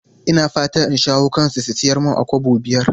Ina fatan in shawo kansu su sayar mun a Kobo biyar.